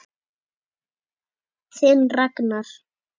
Þinn Ragnar.